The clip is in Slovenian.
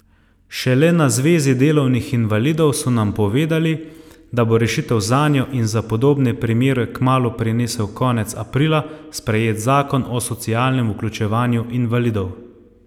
Šele na Zvezi delovnih invalidov so nam povedali, da bo rešitev zanjo in za podobne primere kmalu prinesel konec aprila sprejet Zakon o socialnem vključevanju invalidov.